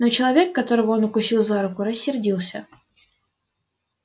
но человек которого он укусил за руку рассердился